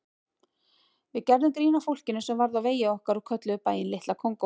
Við gerðum grín að fólkinu sem varð á vegi okkar og kölluðum bæinn Litla Kongó.